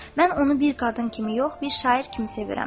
Mən onu bir qadın kimi yox, bir şair kimi sevərəm.